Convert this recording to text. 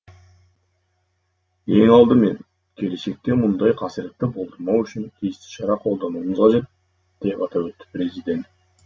ең алдымен келешекте мұндай қасіретті болдырмау үшін тиісті шара қолдануымыз қажет деп атап өтті президент